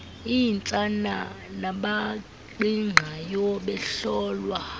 iintsana nabaqingqayo behlolwa